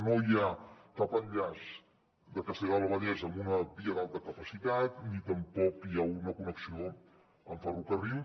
no hi ha cap enllaç de castellar del vallès amb una via d’alta capacitat ni tampoc hi ha una connexió en ferrocarril